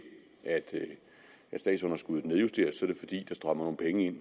at statsunderskuddet nedjusteres er det fordi der strømmer nogle penge ind